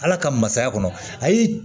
Ala ka masaya kɔnɔ ayi